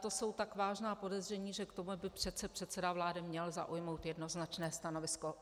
To jsou tak vážná podezření, že k tomu by přece předseda vlády měl zaujmout jednoznačné stanovisko.